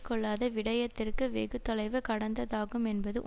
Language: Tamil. கொள்ளாத விடயத்திற்கு வெகு தொலைவு கடந்ததாகும் என்பது